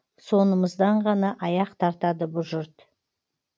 сонымыздан ғана аяқ тартады бұ жұрт